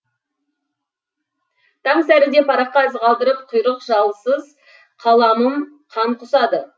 таң сәріде параққа із қалдырып құйрық жалсыз қаламым қан құсады